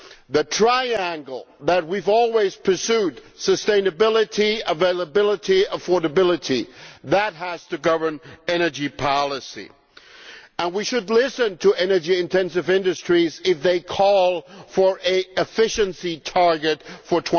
The triangle that we have always pursued sustainability, availability, affordability has to govern energy policy, and we should listen to energy intensive industries if they call for an efficiency target for